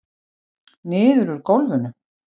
Niður úr gólfinu.